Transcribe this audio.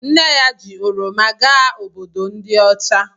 Nne ya ji oroma gaa Obodo ndi ocha